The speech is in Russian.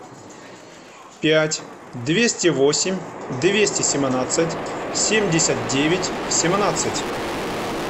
пять двести восемь двести семнадцать семьдесят девять семнадцать